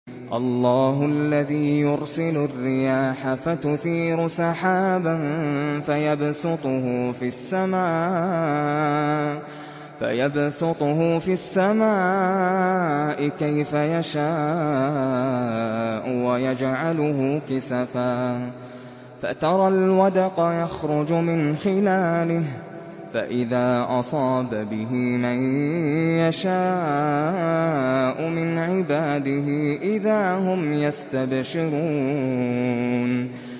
اللَّهُ الَّذِي يُرْسِلُ الرِّيَاحَ فَتُثِيرُ سَحَابًا فَيَبْسُطُهُ فِي السَّمَاءِ كَيْفَ يَشَاءُ وَيَجْعَلُهُ كِسَفًا فَتَرَى الْوَدْقَ يَخْرُجُ مِنْ خِلَالِهِ ۖ فَإِذَا أَصَابَ بِهِ مَن يَشَاءُ مِنْ عِبَادِهِ إِذَا هُمْ يَسْتَبْشِرُونَ